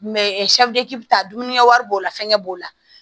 ɛsikalite dumunikɛ wari b'o la fɛnkɛ b'o la